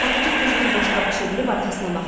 Satıcı tez bir boşqabı çevirib arxasına baxdı.